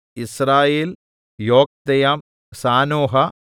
യിസ്രായേൽ യോക്ക്ദെയാം സാനോഹ